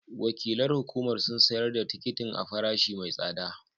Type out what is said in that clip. Wakilan hukumar sun sayar da tikitin a farashi mai tsada